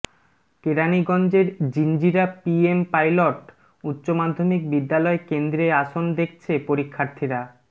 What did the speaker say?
কেরানীগঞ্জের Jinjira PM pilot উচ্চ মাধ্যমিক বিদ্যালয় কেন্দ্রে আসন দেখছে পরীক্ষার্থীরা